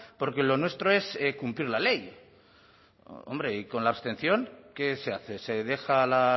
porque lo nuestro es cumplir la ley hombre y con la abstención qué se hace se deja la